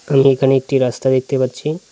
আমি এখানে একটি রাস্তা দেখতে পাচ্ছি।